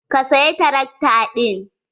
Ka saya tarakta ɗin?